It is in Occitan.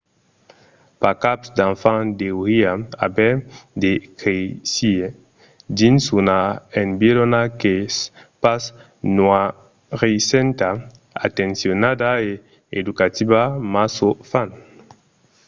pas cap d'enfant deuriá aver de créisser dins una environa qu'es pas noirissenta atencionada e educativa mas o fan